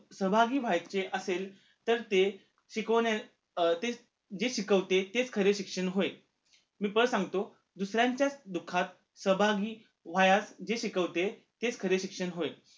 सहभागी व्हायचे असेल तर ते शिकवण्या अं ते जे शिकवते तेच खरे शिक्षण होय मी परत सांगतो दुसऱ्यांच्या दुःखात सहभागी व्हायात जे शिकवते तेच खरे शिक्षण होय